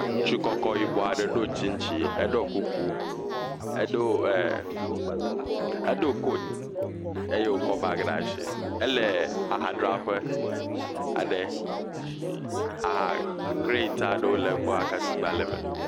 Ŋutsu kɔkɔ yibɔ aɖe. Eɖo tsintsi eh, eh edo koat eye wole bagi ɖe asi, ele aha dza ɖe. Aha krɛt aɖe ke egbɔ yi ke tukpa le eme.